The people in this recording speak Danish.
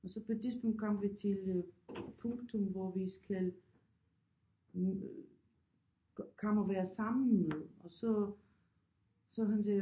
Og så på et tidspunkt kom vi til punktum hvor vi skal komme og være sammen og så så han sagde